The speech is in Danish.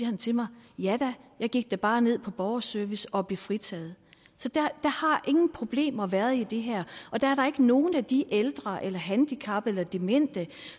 han til mig ja da jeg gik bare ned på borgerservice og blev fritaget så der har ingen problemer været i det her og der er da ikke nogen af de ældre eller handicappede eller demente